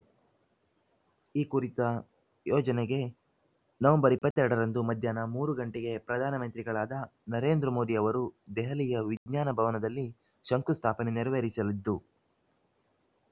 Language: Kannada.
ಈ ಕುರಿತ ಯೋಜನೆಗೆ ನವೆಂಬರ್ ಇಪ್ಪತ್ತ್ ಎರಡರಂದು ಮಧ್ಯಾಹ್ನ ಮೂರು ಗಂಟೆಗೆ ಪ್ರಧಾನಮಂತ್ರಿಗಳಾದ ನರೇಂದ್ರ ಮೋದಿ ಅವರು ದೆಹಲಿಯ ವಿಜ್ಞಾನಭವನದಲ್ಲಿ ಶಂಕುಸ್ಥಾಪನೆ ನೆರವೇರಿಸಲಿದ್ದು